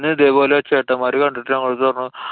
അന്നു ഇതേപോലെ ചേട്ടന്മാര് കണ്ടിട്ട് ഞങ്ങള്‍ടെ അടുത്തു പറഞ്ഞു.